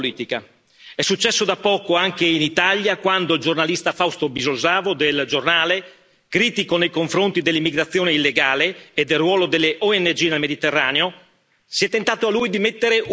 È successo da poco anche in Italia, quando al giornalista Fausto Biloslavo, del Giornale, critico nei confronti dell'immigrazione illegale e del ruolo delle ONG nel Mediterraneo, si è tentato di mettere un bavaglio.